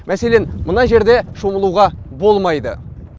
мәселен мына жерде шомылуға болмайды